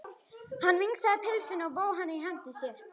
Hann vingsaði pylsunni og vóg hana í hendi sér.